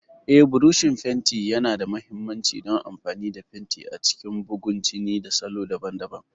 Eh, burushin fenti yana da mahimmanci don amfani da fenti a cikin bugun jini da salo daban-daban.